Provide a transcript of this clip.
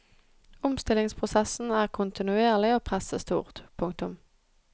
Omstillingsprosessen er kontinuerlig og presset stort. punktum